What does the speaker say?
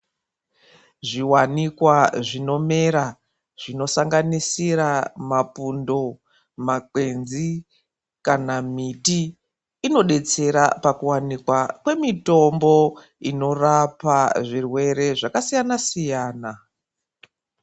Zviwanikwa zvinomera zvinosanganisira mapundo makwenzi kanamiti inodetsera pakuwanikwa kwemitombo inorapa zvirwere zvakasiyana siyana